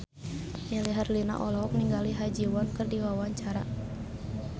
Melly Herlina olohok ningali Ha Ji Won keur diwawancara